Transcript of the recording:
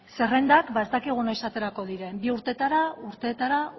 zerrendak ez dakit noiz aterako diren bi urtetara urtera